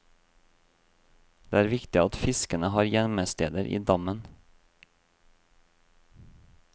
Det er viktig at fiskene har gjemmesteder i dammen.